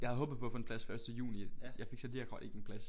Jeg havde håbet på at få en plads første juni. Jeg fik så lige akkurat ikke en plads